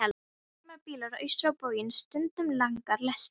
Það er straumur bíla austur á bóginn, stundum langar lestir.